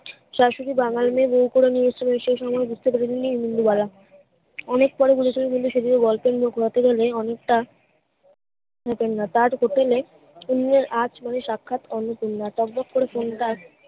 শাশুড়ি বাঙালি মেয়ে বউ করে নিয়ে এসেছিলেন সেই সময়ে বুঝতে পারিনি ইন্দুবালা অনেক পরে বলেছিলেন কিন্তু সেই গুলো গল্পের লোক রটে বলে অনেকটা হতেন না তার হোটেল এ ইন্দ্রর আজ নোয়ে সাক্ষাৎ অন্নপূর্ণা বকবক করে ফোন তা